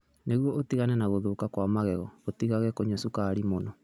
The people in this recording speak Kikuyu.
Nĩguo ũtigane na gũthũka kwa magego, ũtigaga kũnyua cukari mũno.